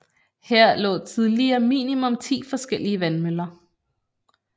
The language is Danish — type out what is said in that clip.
Her lå tidligere minimum ti forskellige vandmøller